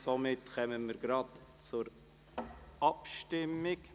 Somit kommen wir zur Abstimmung.